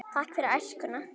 Takk fyrir æskuna.